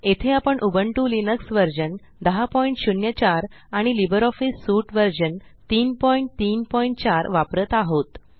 येथे आपण Ubuntu Linux version 1004 आणि लिब्रिऑफिस सूट व्हर्शन 334 वापरत आहोत